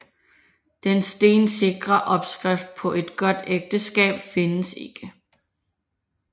Den stensikre opskrift på et godt ægteskab findes ikke